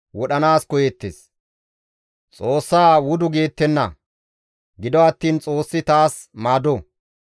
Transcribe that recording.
Gido attiin Xoossi taas maado; Godaykka taas zemppo.